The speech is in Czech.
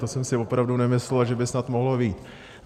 To jsem si opravdu nemyslel, že by snad mohlo vyjít.